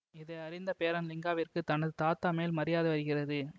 இதை அறிந்த பேரன் லிங்காவிற்கு தனது தாத்தா மேல் மரியாதை வருகிறது